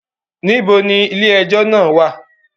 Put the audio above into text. Ibo ni ilé ẹjọ́ náà wà?